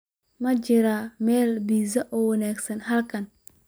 Ma jiraan meelo pizza oo wanaagsan halkan